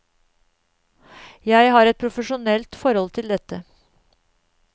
Jeg har et profesjonelt forhold til dette.